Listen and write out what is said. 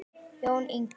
Jón Ingi.